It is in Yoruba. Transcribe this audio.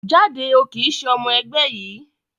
Jáde, o kìí ṣe ọmọ ẹgbẹ́ yìí